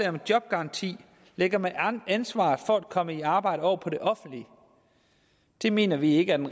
om jobgaranti lægger man ansvaret for at komme i arbejde over på det offentlige det mener vi ikke er den